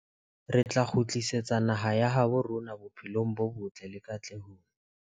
Re tla kgutlisetsa naha ya habo rona bophelong bo botle le katlehong.